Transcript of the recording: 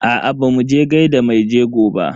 Aa bamu je gaida maijego ba.